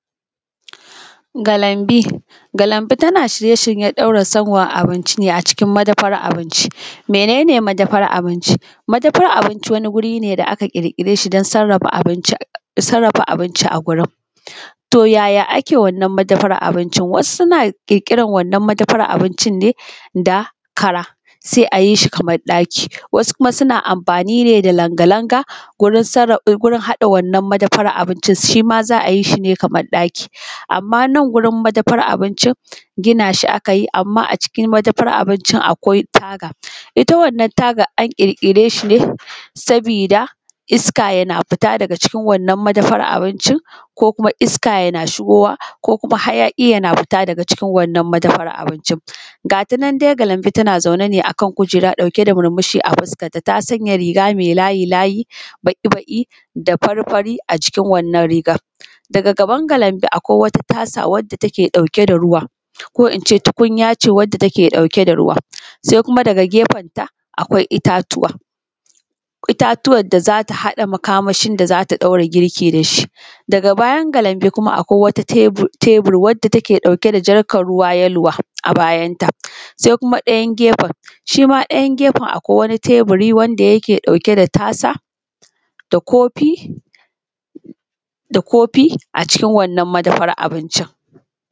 Galanbi. Galanbi tana shirye-shiryen ɗaura sanwan abinci ne a cikin madafan abinci, mene ne madafar abinci? Madafar abinci wani wuri ne da aka ƙirƙire shi domin sarrafa abinci a gurin. To yaya ake wannan madafar abincin? Wasu suna ƙirƙiran wannan madafar abincin ne da kara sai a yi shi kamar ɗaki, wasu kuma suna amfani ne da langa-langa gurin haɗa wannan madafar abincin. Shi ma za a yi shi ne kamar ɗaki. Amma nan gurin madafar abincin gina shi aka yi amma a cikin madafar abincin akwai taga, ita wannan taga an ƙirkire shi ne saboda iska yana fita daga cikin wannan madafar abincin, ko kuma iska yana shigowa ko kuma hayaƙi yana fita daga cikin wannan madafar abincin. Gata nan da Galanbi tana zaune a kan kujera ɗauke da murmushi a fuskanta ta sanya riga mai layi layi, baƙi-baƙi da fari fari a jikin wannan rigar. Daga gaban galanbi akwai wata tasa wanda take ɗauke da ruwa ko ince tukunya ce wanda take ɗauke da ruwa, sai kuma daga gefan ta akwai itatuwa, itatuwan da za ta haɗa makamashin da zata ɗaura girki da shi. Daga bayan Galanbi kuma akwai wata tebir wanda take ɗauke da jarkan ruwa yelowa a bayanta, sai kuma ɗayan gefen shi ma ɗayan gefan akwai wani tabiri wanda yake ɗauke da tasa da kofi a cikin wannan madafar abincin.